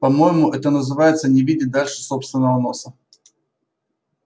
по-моему это называется не видеть дальше собственного носа